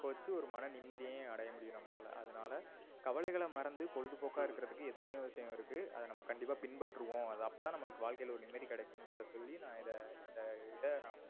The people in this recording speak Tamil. வச்சு ஒரு மன நிம்மதியையும் அடைய முடியும் நம்பளால. அதனால கவலைகள மறத்து பொழுதுபோக்கா இருக்குறதுக்கு எத்தனையோ விஷயம் இருக்கு அத நம்ப கண்டிப்பா பின் பற்றுவோம் அது அபோ தான் நம்பளுக்கு வாழ்கைல ஒரு நிம்மதி கிடைக்கும்ரத சொல்லி நா இத இந்த இத